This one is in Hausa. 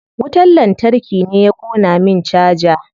Wutar lantarki ne ya ƙona min caja.